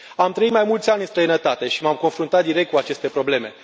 Am trăit mai mulți ani în străinătate și m am confruntat direct cu aceste probleme.